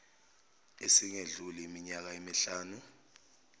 esingedluli iminyaka emihlanu